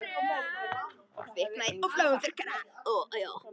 Kviknaði í ofhlöðnum þurrkara